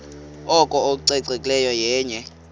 oko ucoceko yenye